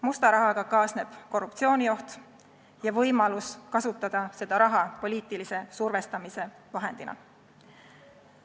Musta rahaga kaasneb korruptsioonioht ja võimalus kasutada seda raha poliitilise survestamise vahendina.